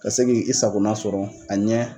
Ka se k'i sakona sɔrɔ a ɲɛ